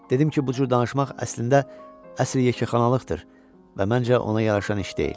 Dedim ki, bu cür danışmaq əslində, əsl yekəxanalıqdır və məncə, ona yaraşan iş deyil.